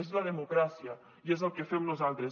és la democràcia i és el que fem nosaltres